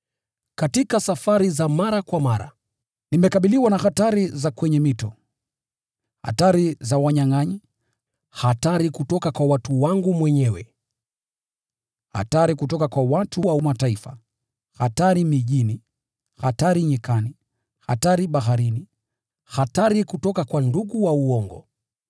katika safari za mara kwa mara. Nimekabiliwa na hatari za kwenye mito, hatari za wanyangʼanyi, hatari kutoka kwa watu wangu mwenyewe, hatari kutoka kwa watu wa Mataifa; hatari mijini, hatari nyikani, hatari baharini; na hatari kutoka kwa ndugu wa uongo.